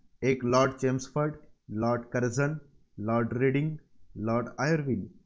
एक Lord Chelmsford, Lord Curzon, Lord Reading, Lord Irwin